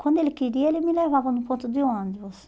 Quando ele queria, ele me levava no ponto de ônibus.